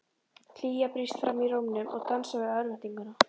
Hlýja brýst fram í rómnum og dansar við örvæntinguna.